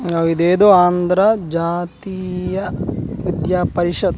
ఆ ఇదేదో ఆంధ్ర జాతీయ విద్య పరిషత్ --